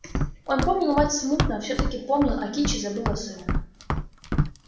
он помнил мать смутно все таки помнил а кичи забыла сына